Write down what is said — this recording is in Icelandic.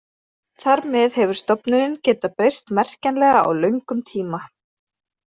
Þar með hefur stofninn getað breyst merkjanlega á löngum tíma.